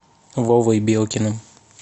вовой белкиным